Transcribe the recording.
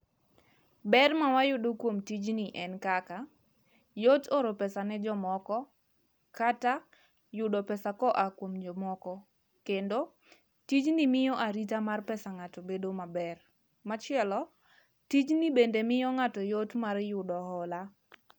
Ber mawayudo kuom tijni en kaka, yot oro pesa ne jomoko, kata yudo pesa koa kuom jomoko. Kendo tijni miyo arita mar pesa ng' ato bedo maber. Machielo, tijni bende miyo ng'ato yot mar yudo hola.